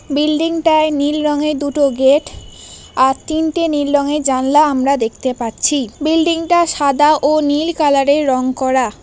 Building -টায় নীল রঙে দুটো গেট আর তিনটে নীল রঙে জানলা আমরা দেখতে পাচ্ছি বিল্ডিং -টা সাদা ও নীল কালার -এর রং করা।